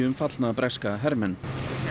um fallna breska hermenn